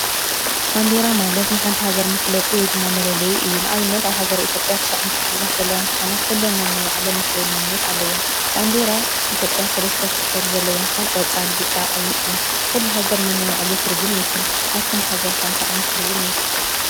ባንዴራ ማለት ንሓንቲ ሃገር መፍለጢ ወይ ድማ መለለይ እዩ። ንኣብነት ኣብ ሃገረ ኢትዮጵያ ትሽዓተ ክልላት ዘለዋ እንትኾና ኩለን ነናይ ባዕለን መፍለይ መንነት ኣለወን። ባንዴራ ኢትዮጵያ ሰለስተ ሕብሪ ዘለዎ ኮይኑ ቆፃል፣ ብጫ፣ ቀይሕ እዩ። ኩሉ ሃገር ነናይ ባዕሉ ትርጉም ይውክል። ናትኩም ሃገር ከ እንታይ ዓይነት ሕብሪ ይውክል?